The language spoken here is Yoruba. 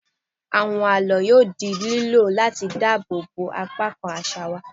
Àwọn àlọ́ yóò di lílò láti dáàbò bo apá kan àṣà wa.